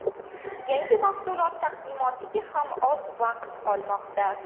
Yangi mahsulot taqdimotiga ham oz vaqt qolmoqda.